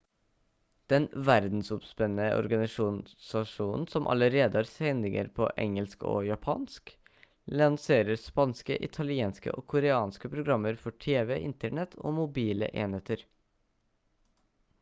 den verdensomspennende organisasjonen som allerede har sendinger på engelsk og japansk lanserer spanske italienske og koreanske programmer for tv internett og mobile enheter